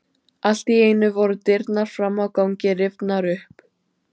Allt í einu voru dyrnar fram á ganginn rifnar upp.